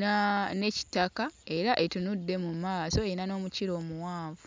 na ne kitaka era etunudde mu maaso erina n'omukira omuwanvu.